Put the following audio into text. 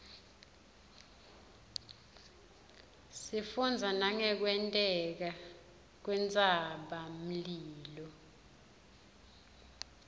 sifundza nangekwenteka kwentsaba mlilo